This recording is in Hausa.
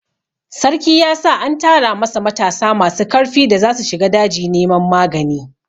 Sarki ya sa an tara masa matasa masu karfi da zasu shiga daji neman magani.